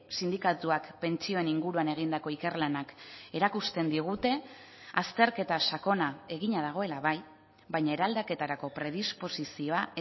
sindikatuak pentsioen inguruan egindako ikerlanak erakusten digute azterketa sakona egina dagoela bai baina eraldaketarako predisposizioa